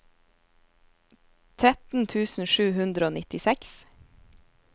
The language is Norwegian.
tretten tusen sju hundre og nittiseks